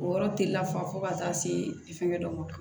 O yɔrɔ tɛ lafa fo ka taa se fɛngɛ dɔ ma